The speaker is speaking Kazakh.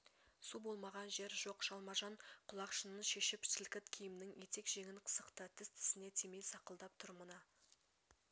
су болмаған жер жоқ жалма-жан құлақшынын шешіп сілкіт киімнің етек-жеңін сықты тіс-тісіне тимей сақылдап тұр мына